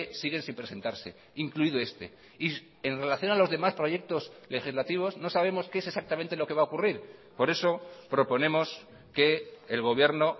siguen sin presentarse incluido este y en relación a los demás proyectos legislativos no sabemos que es exactamente lo que va a ocurrir por eso proponemos que el gobierno